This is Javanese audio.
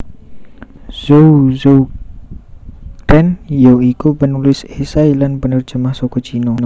Zhou Zuoren ya iku penulis esai lan penerjemah saka Cina